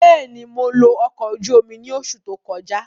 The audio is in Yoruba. Bẹ́ẹ̀ni, Mo lo ọkọ oju omi ni oṣu to kọja.